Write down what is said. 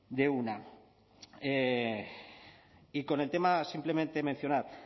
de una y con el tema simplemente mencionar